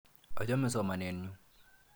Achame somanet nyu.